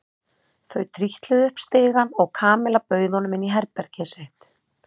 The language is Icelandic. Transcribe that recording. Þau trítluðu upp stigann og Kamilla bauð honum inn í herbergið sitt.